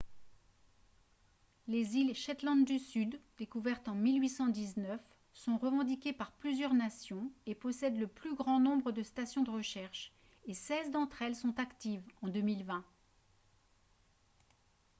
les îles shetland du sud découvertes en 1819 sont revendiquées par plusieurs nations et possèdent le plus grand nombre de stations de recherche et seize d'entre elles sont actives en 2020